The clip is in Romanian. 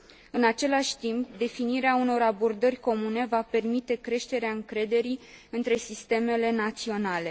În același timp, definirea unor abordări comune va permite creșterea încrederii între sistemele naționale.